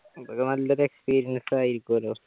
അതൊക്കെ നല്ലൊരു experience ആയിരുക്കുമല്ലോ